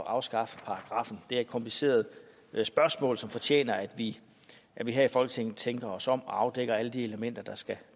at afskaffe paragraffen det er et kompliceret spørgsmål som fortjener at vi her i folketinget tænker os om og afdækker alle de elementer